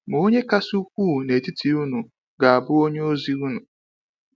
Ma onye kasị ukwuu n’etiti unu ga-abụ onye ozi unu.